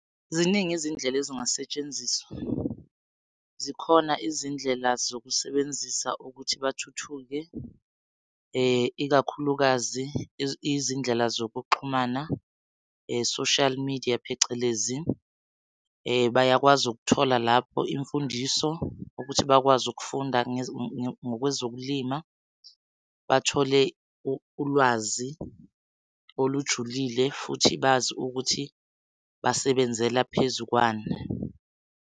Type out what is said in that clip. Ziningi izindlela ezingasetshenziswa. Zikhona izindlela zokusebenzisa ukuthi bathuthuke, ikakhulukazi izindlela zokuxhumana social media phecelezi. Bayakwazi ukuthola lapho imfundiso ukuthi bakwazi ukufunda ngokwezokulima, bathole ulwazi olujulile futhi bazi ukuthi basebenzela phezukwani.